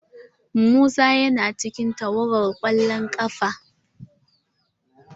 Musa yana cikin tawagar kwallon kafa.